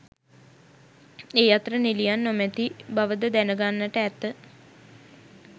ඒ අතර නිළියන් නොමැති බවද දැන ගන්නට ඇත.